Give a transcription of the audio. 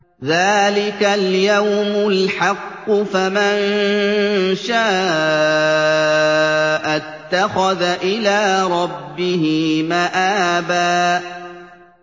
ذَٰلِكَ الْيَوْمُ الْحَقُّ ۖ فَمَن شَاءَ اتَّخَذَ إِلَىٰ رَبِّهِ مَآبًا